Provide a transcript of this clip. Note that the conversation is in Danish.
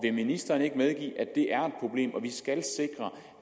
ministeren ikke medgive at det er et problem og at vi skal sikre